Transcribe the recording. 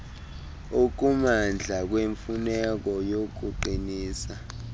okumandla kwemfuneko yokuqinisa